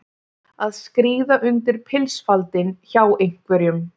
Að skríða undir pilsfaldinn hjá einhverjum